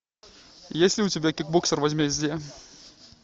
есть ли у тебя кикбоксер возмездие